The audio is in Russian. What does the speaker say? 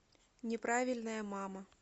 неправильная мама